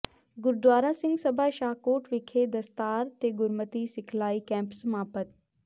ਗੁਰਦੁਆਰਾ ਸਿੰਘ ਸਭਾ ਸ਼ਾਹਕੋਟ ਵਿਖੇ ਦਸਤਾਰ ਤੇ ਗੁਰਮਤਿ ਸਿਖਲਾਈ ਕੈਂਪ ਸਮਾਪਤ